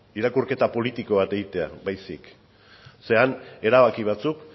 irakurketa politiko bat egitera baizik han erabaki batzuk